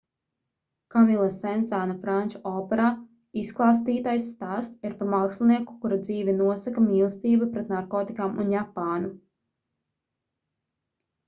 kamila sensāna franču operā izklāstītais stāsts ir par mākslinieku kura dzīvi nosaka mīlestība pret narkotikām un japānu